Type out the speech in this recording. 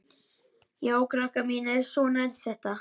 Já, krakkar mínir, svona er þetta.